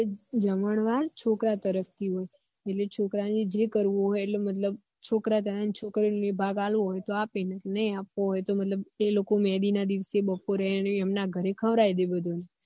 જમણવાર છોકરા તરફ થી હોય એટલે છોકરા ને જે કરવું હોય એટલે મતલબ છોકરા કરતા હોય છોકરી ને ભાગ આપવો હોય તો આપે ના આપવો હોય તો એ લોકો મેહદી ના દિવસ બપોરે એમના ઘર ખવરાઈ દે બધા ને